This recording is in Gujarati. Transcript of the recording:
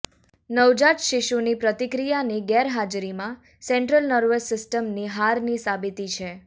નવજાત શિશુની પ્રતિક્રિયાની ગેરહાજરીમાં સેન્ટ્રલ નર્વસ સિસ્ટમની હારની સાબિતી છે